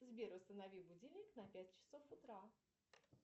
сбер установи будильник на пять часов утра